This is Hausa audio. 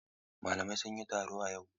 Malamai sun yi taro a yau.